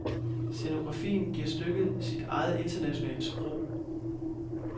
Scenografien giver stykket sit eget internationale sprog.